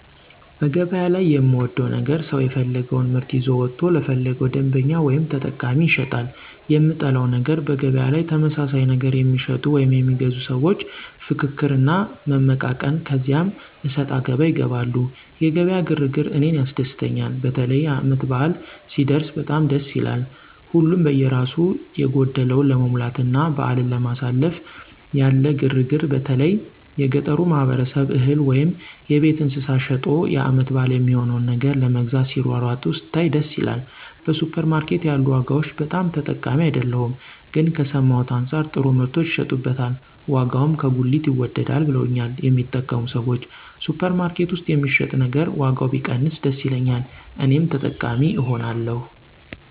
በገበያ ላይ የምወደው ነገር ሰው የፈለገወን ምርት ይዞ ወጥቶ ለፈለገው ደንበኛ ወይም ተጠቃሚ ይሸጣል። የምጠላው ነገር በገበያ ላይ ተመሳሳይ ነገር የሚሸጡ ወይም የሚገዙ ሰዎች ፍክክር እና መመቃቀን ከዚያ አሰጣገባ ይገባሉ። የገበያ ግር ግር እኔን ያስደስተኛል። በተለይ ዓመት በዓል ሲደረስ በጣም ደስ ይላል። ሀሉም በየራሱ የጎደለውን ለመሙላትና በዓልን ለማሳለፍ ያለ ግር ግር በተለይ የገጠሩ ማህበረሰብ እህል ወይም የቤት እንስሳት ሸጦ የዓመት በዓል የሚሆነውን ነገር ለመግዛት ሲሯሯጥ ስታይ ደስ ይላል። በሱፐር ማርኬት ያሉ ዋጋዎች ብዙም ተጠቃሚ አይደለሁም ግን ከሰማሁት አንጻር ጥሩ ምርቶች ይሸጡበታል ዋጋውም ከጉሊት ይወደዳል ብለውኛል የሚጠቀሙ ሰዎች። ሱፐር ማርኬት ውስጥ የሚሸጥ ነገር ዋጋው ቢቀንስ ደስ ይለኛል እኔም ተጠቃሚ እሆናለሁ።